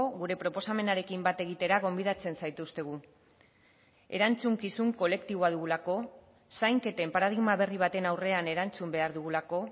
gure proposamenarekin bat egitera gonbidatzen zaituztegu erantzukizun kolektiboa dugulako zainketen paradigma berri baten aurrean erantzun behar dugulako